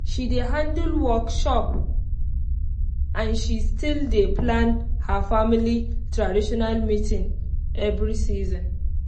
she dey handle workshop and she still dey plan her family traditional meeting every season